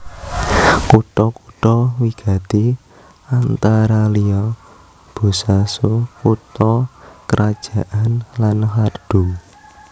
Kutha kutha wigati antara liya Bosaso kutha krajan lan Qardho